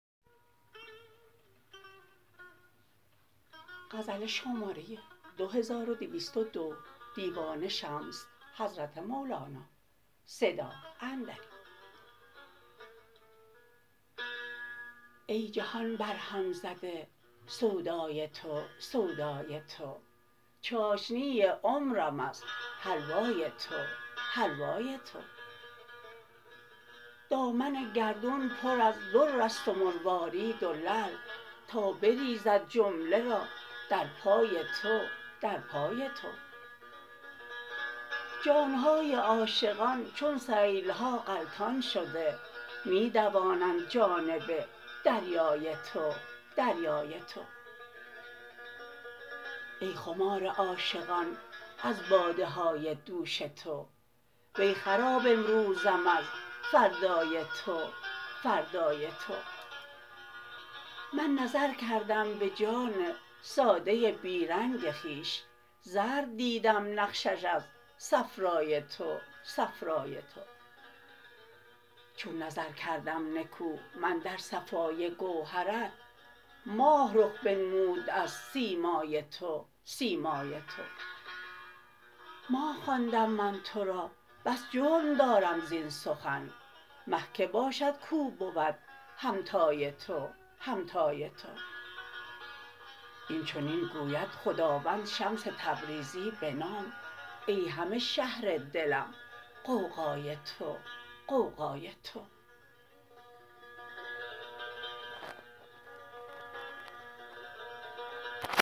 ای جهان برهم زده سودای تو سودای تو چاشنی عمرم از حلوای تو حلوای تو دامن گردون پر از در است و مروارید و لعل می دوانند جانب دریای تو دریای تو جان های عاشقان چون سیل ها غلطان شده تا بریزد جمله را در پای تو در پای تو جان های عاشقان چون سیل ها غلطان شده می دوانند جانب دریای تو دریای تو ای خمار عاشقان از باده های دوش تو وی خراب امروزم از فردای تو فردای تو من نظر کردم به جان ساده ی بی رنگ خویش زرد دیدم نقشش از صفرای تو صفرای تو چون نظر کردم نکو من در صفای گوهرت ماه رخ بنمود از سیمای تو سیمای تو ماه خواندم من تو را بس جرم دارم زین سخن مه کی باشد کاو بود همتای تو همتای تو این چنین گوید خداوند شمس تبریزی بنام ای همه شهر دلم غوغای تو غوغای تو